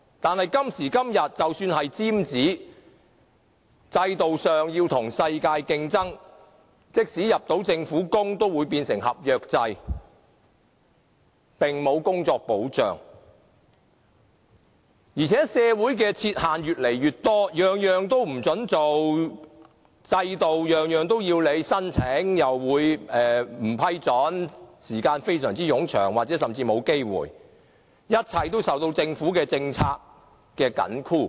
可是，今時今日，即使是"尖子"，在制度上，要與世界競爭，即使能進入政府工作，也變成合約制，工作並無保障；而且社會亦設置越來越多限制，任何事也不准做，制度規定任何事也要申請，但申請又可能不獲批准，審批時間非常冗長，或甚至沒有機會成功，一切均受政府政策緊箍。